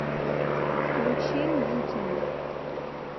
включи мьютини